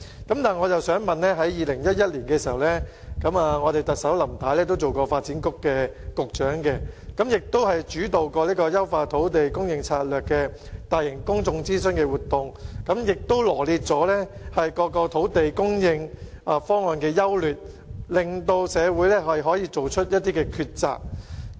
不過，我想指出在2011年，當特首仍然擔任發展局局長時，她亦曾主導進行有關"優化土地供應策略"的大型公眾諮詢活動，並臚列了各個土地供應方案的優劣，令社會可作出抉擇。